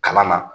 Kalan na